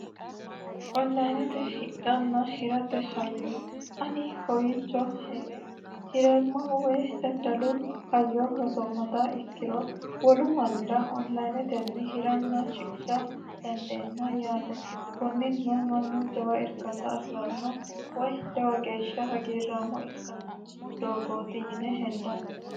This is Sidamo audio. onlayinete hidhanna hirate hayyo ani kowiicho hee're hireemmahu woy daddalu hayyo rosoommata ikkiro wolu mannira onlayinetenni hiranna shiqisha dandeemma yaate kunni no mannu jawa irkata afi'ranno woy jawa geeshsha hagiirrammo ikkanno doogooti yine hendanni